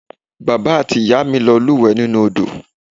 Bàbá àti ìyá mi lọ lúùwẹ́ nínú Odò